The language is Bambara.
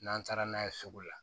N'an taara n'a ye sugu la